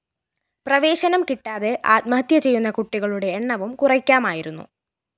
പ്രവേശനം കിട്ടാതെ ആത്മഹത്യ ചെയ്യുന്ന കുട്ടികളുടെ എണ്ണവും കുറയ്ക്കാമായിരുന്നു